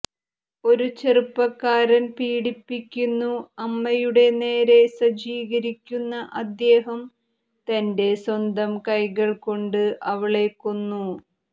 ഒരു ചെറുപ്പക്കാരൻ പീഡിപ്പിക്കുന്നു അമ്മയുടെ നേരെ സജ്ജീകരിക്കുന്ന അദ്ദേഹം തന്റെ സ്വന്തം കൈകൾ കൊണ്ട് അവളെ കൊന്നു